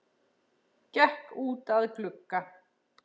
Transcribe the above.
Gekk út að glugga.